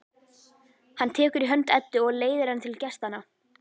Hann tekur í hönd Eddu og leiðir hana til gestanna.